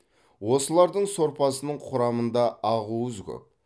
осылардың сорпасының құрамында ақуыз көп